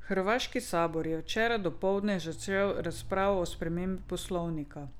Hrvaški sabor je včeraj dopoldne začel razpravo o spremembi poslovnika.